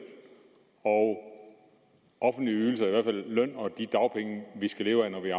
og offentlige ydelser eller i hvert løn og de dagpenge vi skal leve af når vi